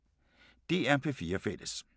DR P4 Fælles